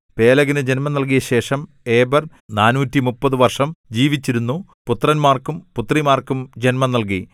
പേലെഗിനു ജന്മം നൽകിയശേഷം ഏബെർ നാനൂറ്റിമുപ്പത് വർഷം ജീവിച്ചിരുന്നു പുത്രന്മാർക്കും പുത്രിമാർക്കും ജന്മം നൽകി